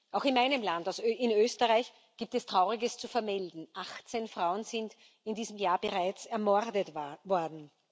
Auch aus meinem Land, aus Österreich, gibt es Trauriges zu vermelden 18 Frauen sind in diesem Jahr bereits ermordet worden.